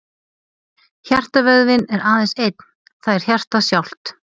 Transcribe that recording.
Hjartavöðvinn er aðeins einn, það er hjartað sjálft.